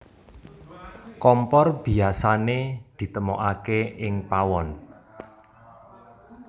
Kompor biyasané ditemokaké ing pawon